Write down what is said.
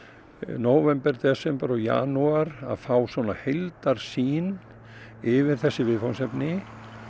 nóvember desember janúar að fá heildarsýn yfir þessi viðfangsefni